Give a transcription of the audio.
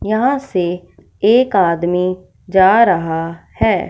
यहां से एक आदमी जा रहा है।